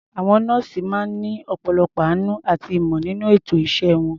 Àwọn nọ́ọ̀sì máa ń ní ọ̀pọ̀lọpọ̀ àánú àti ìmọ̀ nínú ètò iṣẹ́ wọn.